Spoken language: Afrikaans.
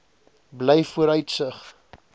blyvooruitsig